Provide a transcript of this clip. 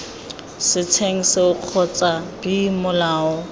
setsheng seo kgotsa b molao